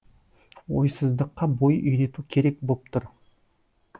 ойсыздыққа бой үйрету керек боп тұр